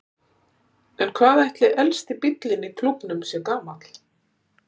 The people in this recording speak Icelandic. En hvað ætli elsti bíllinn í klúbbnum sé gamall?